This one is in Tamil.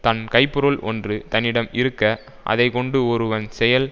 தன் கைப்பொருள் ஒன்று தன்னிடம் இருக்க அதை கொண்டு ஒருவன் செயல்